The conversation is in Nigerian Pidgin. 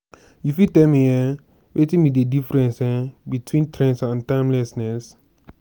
you fit tell me um wetin be di difference um between trends and timelessness?